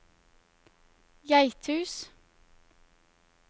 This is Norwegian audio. Geithus